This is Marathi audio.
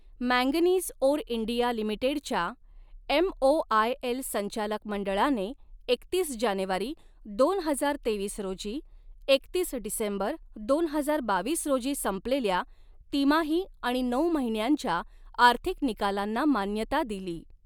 मॅगनीज ओर इंडिया लिमिटेडच्या एमओआयएल संचालक मंडळाने एकतीस जानेवारी दोन हजार तेवीस रोजी एकतीस डिसेंबर दोन हजार बावीस रोजी संपलेल्या तिमाही आणि नऊ महिन्यांच्या आर्थिक निकालांना मान्यता दिली.